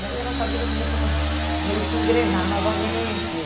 Daí a nossa vida começou meio que a engrenar novamente.